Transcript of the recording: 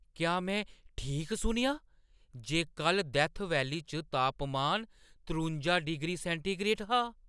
क्या में ठीक सुनेआ जे कल्ल डैत्थ वैली च तापमान त्रुंजा डिग्री सैंटीग्रेड हा?